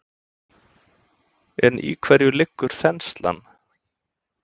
En í hverju liggur þenslan?